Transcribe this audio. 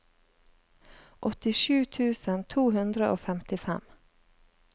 åttisju tusen to hundre og femtifem